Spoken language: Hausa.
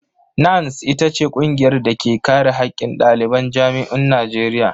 NANS ita ce ƙungiyar da ke kare haƙƙin ɗaliban jami'un Najeriya.